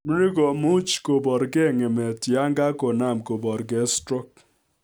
Mri komuch kobor ng'emet yaan kakonaam koborgei stroke